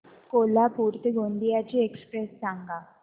कोल्हापूर ते गोंदिया ची एक्स्प्रेस सांगा